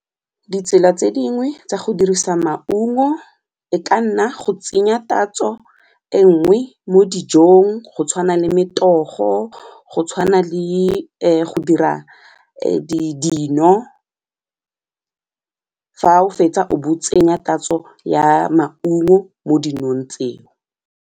Ditsela tse dingwe tsa go dirisa maungo e ka nna go tsenya tatso e nngwe mo dijong go tshwana le metogo go tshwana le go dira dino fa o fetsa o bo o tsenya tatso ya maungo mo dinong tseo.